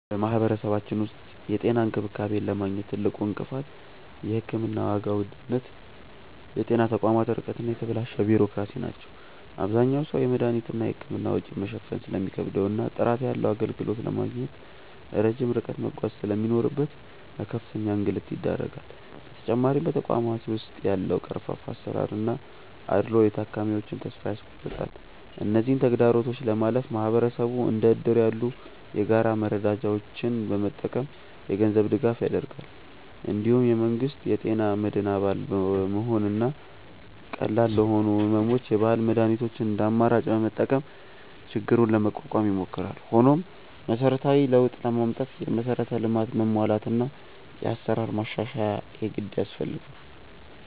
በማህበረሰባችን ውስጥ የጤና እንክብካቤን ለማግኘት ትልቁ እንቅፋት የሕክምና ዋጋ ውድነት፣ የጤና ተቋማት ርቀት እና የተበላሸ ቢሮክራሲ ናቸው። አብዛኛው ሰው የመድኃኒትና የሕክምና ወጪን መሸፈን ስለሚከብደውና ጥራት ያለው አገልግሎት ለማግኘት ረጅም ርቀት መጓዝ ስለሚኖርበት ለከፍተኛ እንግልት ይዳረጋል። በተጨማሪም በተቋማት ውስጥ ያለው ቀርፋፋ አሰራርና አድልዎ የታካሚዎችን ተስፋ ያስቆርጣል። እነዚህን ተግዳሮቶች ለማለፍ ማህበረሰቡ እንደ እድር ያሉ የጋራ መረዳጃዎችን በመጠቀም የገንዘብ ድጋፍ ያደርጋል። እንዲሁም የመንግስት የጤና መድን አባል በመሆንና ቀላል ለሆኑ ሕመሞች የባህል መድኃኒቶችን እንደ አማራጭ በመጠቀም ችግሩን ለመቋቋም ይሞክራል። ሆኖም መሰረታዊ ለውጥ ለማምጣት የመሠረተ ልማት መሟላትና የአሰራር ማሻሻያ የግድ ያስፈልጋል።